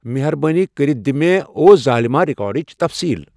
مہربٲنی کٔرِتھ دِ مے او ظالِما ریکارڈچ تفصیٖل ۔